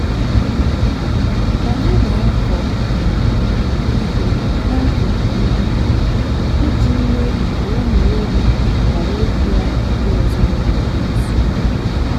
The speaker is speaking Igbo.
anyị na-akọ um ihe n'akụkụ mgbidi iji mee ka ụmụ ewu ghara ịbịa ugbo ezinụlọ m nso.